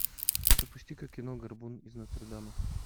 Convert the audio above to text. запусти ка кино горбун из нотр дама